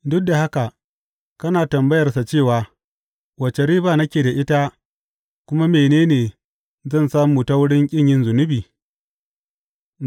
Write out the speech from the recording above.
Duk da haka kana tambayarsa cewa, Wace riba nake da ita, kuma mene ne zan samu ta wurin ƙin yin zunubi?’